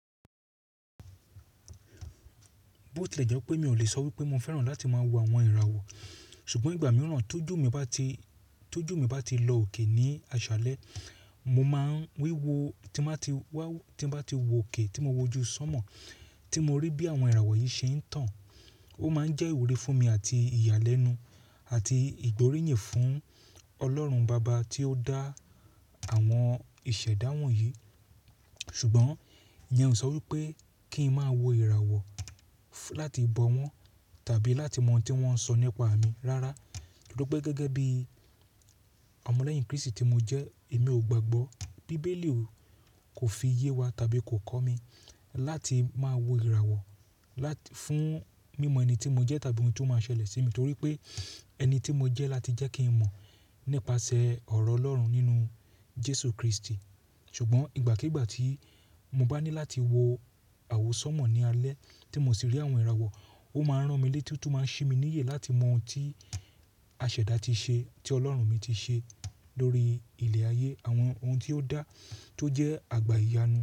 Bó tilẹ̀ jẹ́ pé mi ò lè sọ wípé mo fẹ́ràn láti máa wo àwọn ìràwọ̀, ṣùgbọ́n ìgbà mìíràn tójú mi bá ti, tójú mi bá ti lọ òkè ní aṣálẹ́, mo máa ń wíwo tí mo bá ti wá, tí mo bá ti wò òkè tí mo wojú sọ́mọ̀, tí mo rí bí àwọn ìràwọ̀ yìí ṣe ń tàn. Ó máa ń jẹ́ ìwúrí fún mi àti ìyàlẹ́nu àti ìgbóríyìn fún Ọlọ́run baba tí ó dá àwọn ìṣẹ̀dá wọ̀nyí. Ṣùgbọ́n ìyẹn ò sọ wípé kí n máa wo ìràwọ̀ láti bọ wọ́n tàbí láti mọ ohun tí wọ́n ń sọ nípa mi. Rárá, nítorí pé gẹ́gẹ́ bí ọmọlẹ́yìn Krístì tí mo jẹ́ èmi ò gbàgbọ́. Bíbélì kò fi iye wa tàbí kò kọ́ mi láti máa wo ìràwọ̀ lá-- fún mímọ ẹni tí mo jẹ́ tàbí ohun tí ó máa ṣẹlẹ̀ sí mi, torí pé ẹni tí mo jẹ́ láti jẹ́ kí n mọ̀ nípasẹ̀ ọ̀rọ̀ Ọlọ́run nínú Jésù Krístì. Ṣùgbọ́n ìgbàkígbà tí mo bá ní láti wo àwọ̀ sọ́mọ̀ ní alẹ́ tí mo sì rí àwọn ìràwọ̀, ó máa ń rán mi léte tó máa ń ṣí mi níyè láti mọ ohun tí a ṣẹ̀dá ti ṣe, tí Ọlọ́run mi ti ṣe lórí ilẹ̀ ayé, àwọn ohun tí ó dá tó jẹ́ àgbá iyanu.